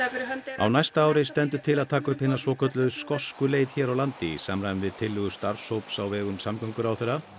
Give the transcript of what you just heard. á næsta ári stendur til að taka upp hina svokölluðu skosku leið hér á landi í samræmi við tillögu starfshóps á vegum samgönguráðherra